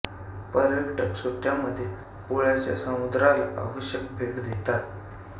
पर्यटक सुट्ट्या मधे पुळ्याच्या समुद्राला अवश्य भेट देतात